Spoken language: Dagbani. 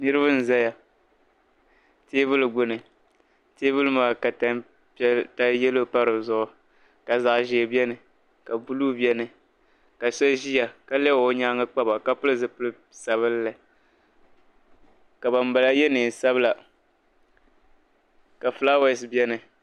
Niribi n ʒaya teebuli gbuni teebuli maa ka tan piɛli yelɔw pa dizuɣu ka zaɣi ʒɛɛ beni ka blue beni kashabi ʒeya ka lebigi ɔ nyaaŋ nkpaba ka pili zi pili sabinli. ka ban bala ye leen sabila la fulawese beni